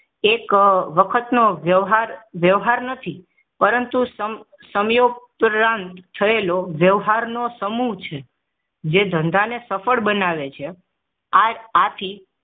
એક વખત નો વહેવાર વહેવાર નથી પરંતુ સમય સમયઉપરાંત થયેલો વહેવારનો સમુહ છે જે ધંધા ને સફળ બનાવે છે આ આથી